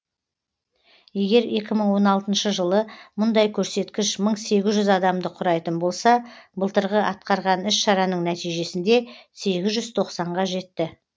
егерекі мың он алтыншы жылы мұндай көрсеткіш мың сегіз жүз адамды құрайтын болса былтырғы атқарған іс шараның нәтижесінде сегіз жүз тоқсанға жетті